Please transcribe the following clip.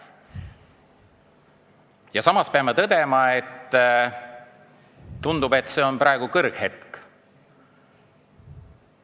Ja samas peame tõdema, et tundub, et see on praegu kõrghetk.